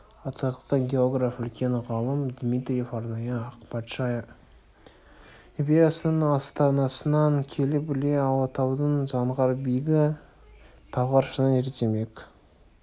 атақты географ үлкен ғалым дмитриев арнайы ақ патша империясының астанасынан келіп іле алатауының заңғар биігі талғар шыңын зерттемек